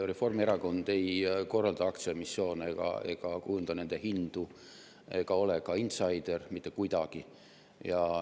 Reformierakond ei korralda aktsiaemissioone, ei kujunda hindu ega ole insaider mitte kuidagi.